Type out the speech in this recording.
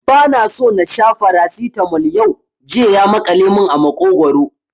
Ba na so na sha Farasitamol yau, jiya ya maƙale mun a maƙogwaro